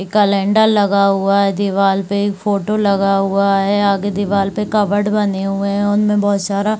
calendar लगा हुआ है दीवाल पे एक फोटो लगा हुआ है आगे दीवाल पे कबर्ड बने हुए है उनमे बहोत सारा--